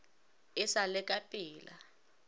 e sa le ka pela